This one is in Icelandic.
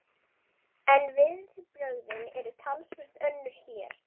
En viðbrögðin eru talsvert önnur hér.